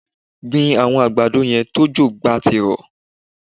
Gbin àwọn àgbàdo yẹn tí òjò gbá ti rọ̀